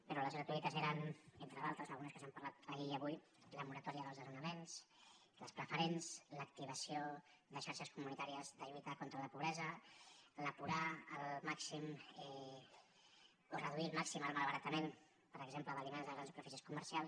però les gratuïtes eren entre d’altres algunes que s’han parlat ahir i avui la moratòria dels desnonaments les preferents l’activació de xarxes comunitàries de lluita contra la pobresa reduir al màxim el malbaratament per exemple d’aliments de grans superfícies comercials